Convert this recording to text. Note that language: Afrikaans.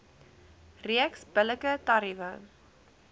reeks billike tariewe